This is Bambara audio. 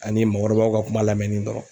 Ani mɔgɔkɔrɔbaw ka kuma lamɛnni dɔrɔn.